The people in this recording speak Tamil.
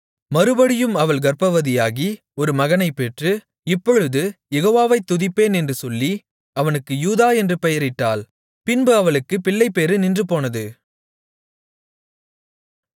மறுபடியும் அவள் கர்ப்பவதியாகி ஒரு மகனைப் பெற்று இப்பொழுது யெகோவாவைத் துதிப்பேன் என்று சொல்லி அவனுக்கு யூதா என்று பெயரிட்டாள் பின்பு அவளுக்குப் பிள்ளைப்பேறு நின்றுபோனது